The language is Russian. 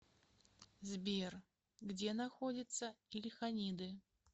сбер где находится ильханиды